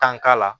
Tan k'a la